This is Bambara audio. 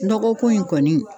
Dɔgɔkun in kɔni.